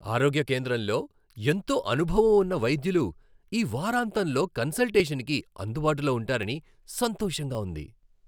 ఆరోగ్య కేంద్రంలో ఎంతో అనుభవం ఉన్న వైద్యులు ఈ వారాంతంలో కన్సల్టేషన్కి అందుబాటులో ఉంటారని సంతోషంగా ఉంది.